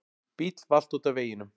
Bíll valt út af veginum.